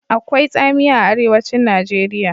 Akwai tsamiya a Arewacin Najeriya.